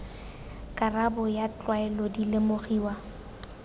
karabo ya tlwaelo di lemogiwa